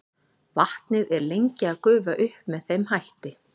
Vatnið er lengi að gufa upp með þeim hætti.